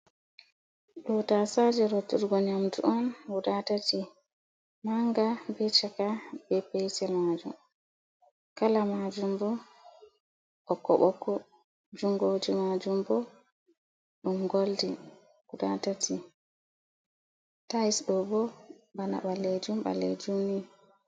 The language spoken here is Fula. Ɗo tasaaje rotturgo nyamdu on guda tati, manga be caka be petel maajum. Kala maajum bo ɓokko-ɓokko. Jungoji maajum bo ɗum goldin, guda tati. Tais ɗo bo bana ɓaleejum-ɓaleejum ni.